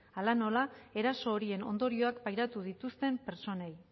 hala nola eraso horien ondorioak pairatu dituzten pertsonei